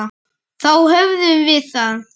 Þá höfum við það.